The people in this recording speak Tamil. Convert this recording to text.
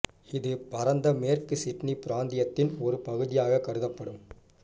இது பரந்த மேற்கு சிட்னி பிராந்தியத்தின் ஒரு பகுதியாக கருதப்படும்